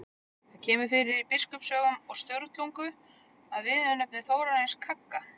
Það kemur fyrir í Biskupasögum og Sturlungu sem viðurnefni Þórarins kagga.